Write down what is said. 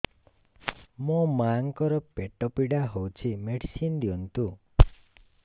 ମୋ ମାଆଙ୍କର ପେଟ ପୀଡା ହଉଛି ମେଡିସିନ ଦିଅନ୍ତୁ